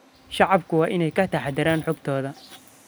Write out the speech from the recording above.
Shacabku waa inay ka taxadaraan xogtooda.